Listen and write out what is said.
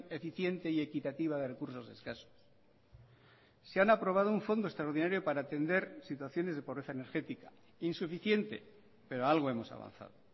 eficiente y equitativa de recursos escasos se han aprobado un fondo extraordinario para atender situaciones de pobreza energética insuficiente pero algo hemos avanzado